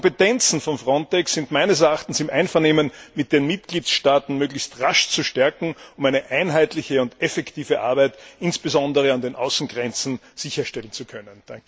Die Kompetenzen von FRONTEX sind meines Erachtens im Einvernehmen mit den Mitgliedstaaten möglichst rasch zu stärken, um eine einheitliche und effektive Arbeit insbesondere an den Außengrenzen sicherstellen zu können.